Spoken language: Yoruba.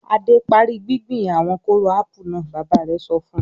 "Adé parí gbíngbin àwọn kóró ápù náà!" Bàbá rẹ̀ sọ fún un.